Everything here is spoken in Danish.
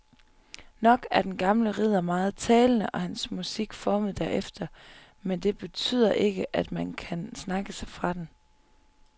Nok er den gamle ridder meget talende og hans musik formet derefter, men det betyder ikke at man kan snakke sig fra den.